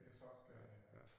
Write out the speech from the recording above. I Slotsgade ja